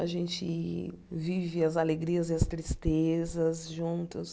A gente vive as alegrias e as tristezas juntos.